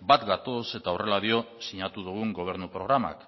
bat gatoz eta horrela dio sinatu dugun gobernu programak